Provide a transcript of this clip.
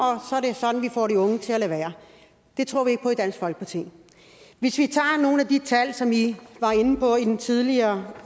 sådan får vi de unge til at lade være det tror vi ikke på i dansk folkeparti hvis vi tager nogle af de tal som i var inde på i det tidligere